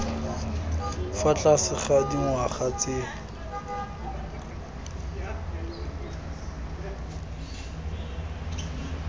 fa tlase ga dingwaga tse